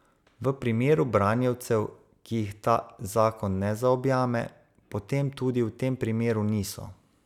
V primeru branjevcev, ki jih ta zakon ne zaobjame, potem tudi v tem primeru niso.